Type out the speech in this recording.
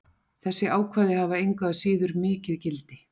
Þessi ákvæði hafa engu að síður mikið gildi.